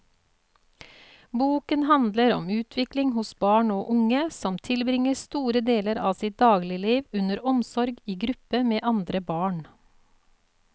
Boken handler om utvikling hos barn og unge som tilbringer store deler av sitt dagligliv under omsorg i gruppe med andre barn.